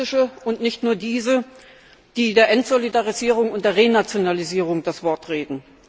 die britische und nicht nur diese die der Entsolidarisierung und der Renationalisierung das Wort reden.